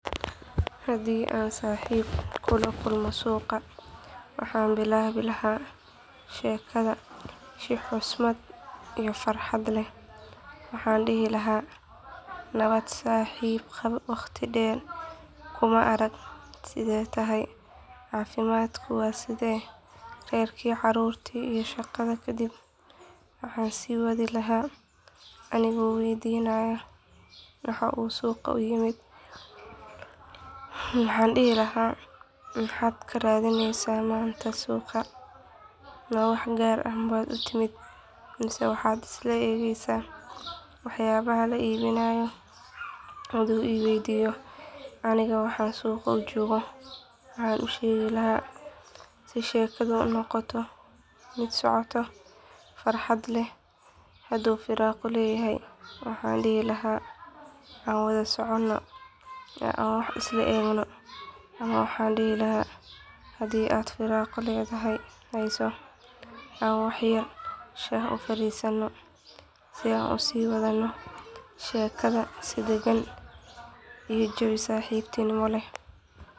Haddii aan saaxiib kula kulmo suuqa waxaan bilaabi lahaa sheekada si xushmad iyo farxad leh waxaana dhihi lahaa nabad saaxiib waqti dheer kuma arag sidee tahay caafimaadku waa sidee reerkii carruurtii iyo shaqada kadib waxaan sii wadi lahaa anigoo weydiinaya waxa uu suuqa u yimid waxaan dhihi lahaa maxaad ka raadinaysaa maanta suuqa ma wax gaar ah baad u timid mise waxaad iska eegaysaa waxyaabaha la iibinayo hadduu i weydiiyo anigana waxaan suuqa u joogo waxaan u sheegi lahaa si sheekadu u noqoto mid socota farxad leh hadduu firaaqo leeyahay waxaan dhihi lahaa aan wada socon oo aan wax isla eegno ama waxaan dhihi lahaa haddii aad firaaqo haysato aan wax yar shaah u fariisanno si aan u sii wadno sheekada si degan iyo jawi saaxiibtinimo leh.